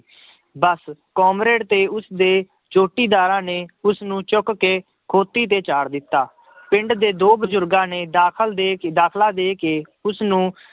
ਬਸ comrade ਤੇ ਉਸਦੇ ਜੋਟੀਦਾਰਾਂ ਨੇ ਉਸਨੂੰ ਚੁੱਕ ਕੇ ਖੋਤੀ ਤੇ ਚਾੜ੍ਹ ਦਿੱਤਾ ਪਿੰਡ ਦੇ ਦੋ ਬਜ਼ੁਰਗਾਂ ਨੇ ਦਾਖਲ ਦੇ ਕੇ, ਦਾਖਲਾ ਦੇ ਕੇ ਉਸਨੂੰ